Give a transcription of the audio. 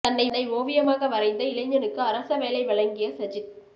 தன்னை ஓவியமாக வரைந்த இளைஞனுக்கு அரச வேலை வழங்கிய சஜித்